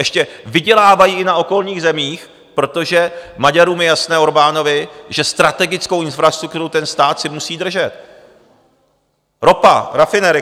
Ještě vydělávají i na okolních zemích, protože Maďarům je jasné, Orbánovi, že strategickou infrastrukturu ten stát si musí držet - ropa, rafinerie.